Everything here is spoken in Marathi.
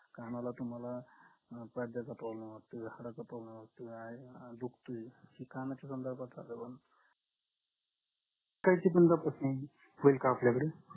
कानाला तुम्हाला पडद्याचा problem वाटोय हाडाचा problem वाटोय आह दुखतोय ही कणाच खालची पंधरा percent होईल का आपल्याकडे